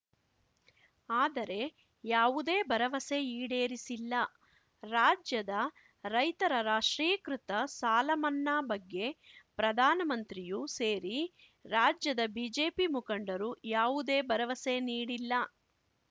ಆದರೆ ಯಾವುದೇ ಭರವಸೆ ಈಡೇರಿಸಿಲ್ಲ ರಾಜ್ಯದ ರೈತರ ರಾಷ್ಟ್ರೀಕೃತ ಸಾಲಮನ್ನಾ ಬಗ್ಗೆ ಪ್ರಧಾನ ಮಂತ್ರಿಯೂ ಸೇರಿ ರಾಜ್ಯದ ಬಿಜೆಪಿ ಮುಖಂಡರು ಯಾವುದೇ ಭರವಸೆ ನೀಡಿಲ್ಲ